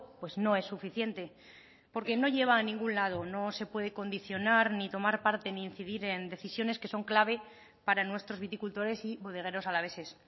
pues no es suficiente porque no lleva a ningún lado no se puede condicionar ni tomar parte ni incidir en decisiones que son clave para nuestros viticultores y bodegueros alaveses